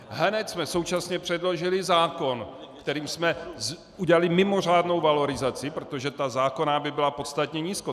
Hned jsme současně předložili zákon, kterým jsme udělali mimořádnou valorizaci, protože ta zákonná by byla podstatně nízko.